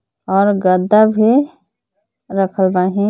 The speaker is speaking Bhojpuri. और गद्दा भी रखल बाहिन.